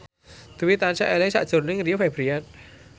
Dwi tansah eling sakjroning Rio Febrian